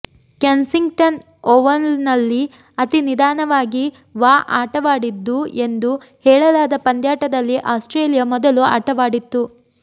Kensington ಒವಲ್ನಲ್ಲಿ ಅತಿ ನಿದಾನವಾಗಿ ವಾ ಆಟವಾಡಿದ್ದು ಎಂದು ಹೇಳಲಾದ ಪಂದ್ಯಾಟದಲ್ಲಿ ಆಸ್ಟ್ರೇಲಿಯಾ ಮೊದಲು ಆಟವಾಡಿತ್ತು